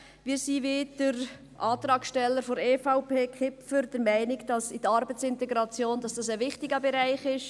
Wir sind, wie der Antragsteller Kipfer der EVP der Meinung, dass die Arbeitsintegration ein wichtiger Bereich ist.